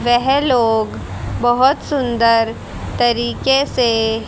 वह लोग बहोत सुंदर तरीके से--